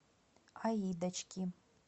аидочки